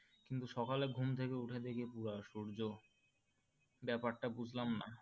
কিন্তু সকালে ঘুমথেকে উঠে দেখি পুরো সূর্য ব্যাপারটা বুঝলাম না।